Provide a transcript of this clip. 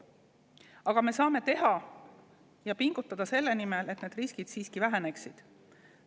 Aga me saame pingutada selle nimel, et need riskid siiski väheneksid.